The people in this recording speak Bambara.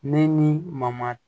Ne ni mamadu